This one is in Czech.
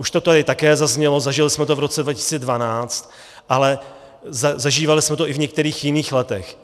Už to tady také zaznělo, zažili jsme to v roce 2012, ale zažívali jsme to i v některých jiných letech.